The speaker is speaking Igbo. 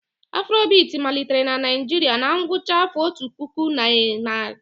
Afrobiti malitere na Naijiria na ngwụcha afa otu puku na nari iri itoolu na iri isii.